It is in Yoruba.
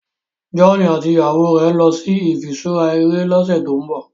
John àti ìyàwó rẹ nlọ sí ifiṣura eré lọsẹ to'n bọ